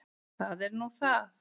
Það er nú það.